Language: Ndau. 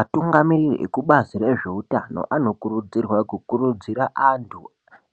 Atungamiriri ekubazi rezveutano anokurudzirwa kukurudzira antu